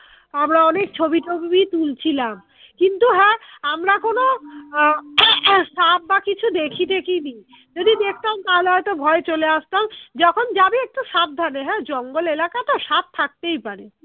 আমরা অনেক ছবি টবি তুলছিলাম কিন্তু হ্যাঁ আমরা কোনো আহ সাপ বা কিছু দেখি টেখি নি যদি দেখতাম তাহলে হয়তো ভয়ে চলে আসতাম যখন জাবি একটু সাবধানে হ্যাঁ জঙ্গল এলাকা তো স্যাপ থাকতেই পারে